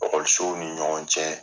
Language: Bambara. ni ɲɔgɔn cɛ